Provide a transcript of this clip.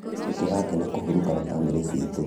Nĩtũrakena kũhurũka na bamĩrĩ citũ